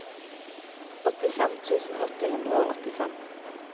åttifem tusen åtte hundre og åttifem